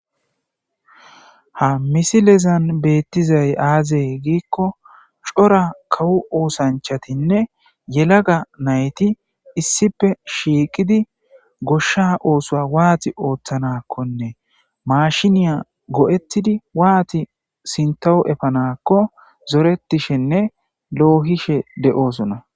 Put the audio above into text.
ha misilezan beettizay aaze giikko cora kawo oosanchatinne yelaga nayti issife shiiqidi goshsha oosoa waati ooththanakkonne maashiniya go'ettidi waati sintawo efanakko zoretishinne loohishe de'osona